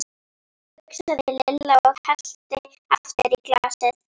hugsaði Lilla og hellti aftur í glasið.